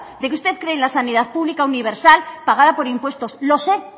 de que usted cree en la sanidad pública universal pagada por impuestos lo sé